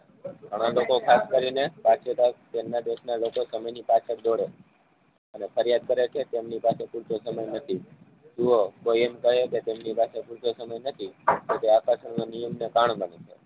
ઘણા લોકો ખાસ કરીને તેમના દેશને લોકો સમયની પાછળ દોડે અને ફરીયાદ જ કરે છે તેમની પાછળ પુરેતો સમય નથી. જોવો કોઈ એમ કહે કે તેમની પાછળ પૂરતો સમય નથી તો તે આકર્ષણનો નિયમ